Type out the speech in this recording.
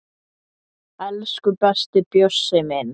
Elsku besti Bjössi minn.